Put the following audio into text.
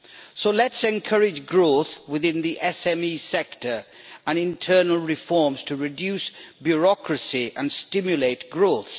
So let us encourage growth within the SME sector, and internal reforms to reduce bureaucracy and stimulate growth.